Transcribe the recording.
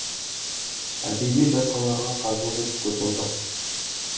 әдеби байқауларға қазылық етіп көргем жоқ